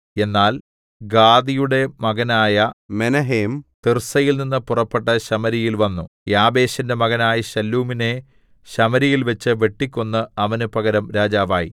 എന്നാൽ ഗാദിയുടെ മകനായ മെനഹേം തിർസയിൽനിന്നു പുറപ്പെട്ട് ശമര്യയിൽ വന്നു യാബേശിന്റെ മകനായ ശല്ലൂമിനെ ശമര്യയിൽവെച്ച് വെട്ടിക്കൊന്ന് അവന് പകരം രാജാവായി